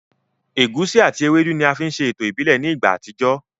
Ẹ̀gusi àti ewédú ni a fi ń ṣe ètò ìbílẹ̀ ní ìgbà àtijọ́